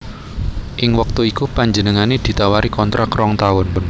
Ing wektu iku panjenengané ditawari kontrak rong taun